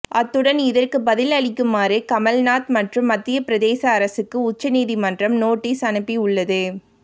அத்துடன் இதற்கு பதில் அளிக்குமாறு கமல் நாத் மற்றும் மத்திய பிரதேச அரசுக்கு உச்ச நீதிமன்றம் நோட்டீஸ் அனுப்பி உள்ளது